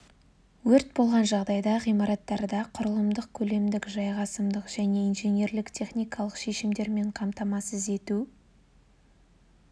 өрт болған жағдайда ғимараттарда құрылымдық көлемдік-жайғасымдық және инженерлік техникалық шешімдермен қамтамасыз ету